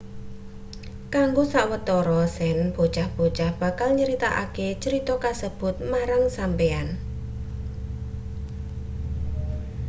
kanggo sawetara sen bocah-bocah bakal nyritakake crita kasebut marang sampeyan